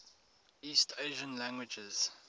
east asian languages